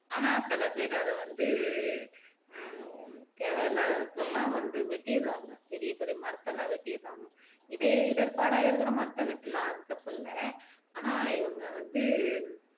ஆனா சில பேர் அத வந்து ஆஹ் தேவை இல்லாததுக்கெல்லாம் வந்து வெட்டிடுறாங்க பெரிய பெரிய மரத்த எல்லாம் வெட்டிடுறாங்க இதே இடர்பாடா இருக்கிற மரத்த வெட்டலாம் அது தப்பு இல்ல ஆனா இவங்க வந்து